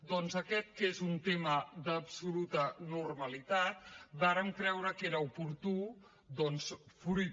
doncs en aquest que és un tema d’absoluta normalitat vàrem creure que era oportú fruit